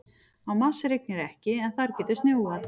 Á Mars rignir ekki en þar getur snjóað.